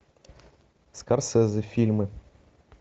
скорсезе фильмы